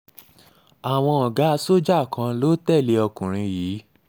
àwọn ọ̀gá sójà kan um ló tẹ̀lé ọkùnrin yìí